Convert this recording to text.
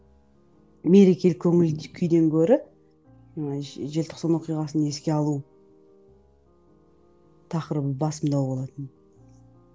мерекелік көңіл күйден көрі ыыы желтоқсан оқиғасын еске алу тақырыбы басымдау болатын